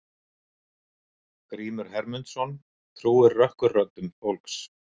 Grímur Hermundsson trúir rökkurröddum fólks.